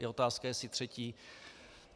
Je otázka, jestli třetí.